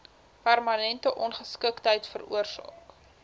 permanente ongeskiktheid veroorsaak